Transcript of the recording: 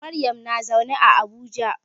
Maryam na zaune a Abuja.